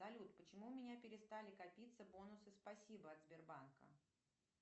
салют почему у меня перестали копиться бонусы спасибо от сбербанка